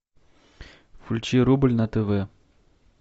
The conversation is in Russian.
включи рубль на тв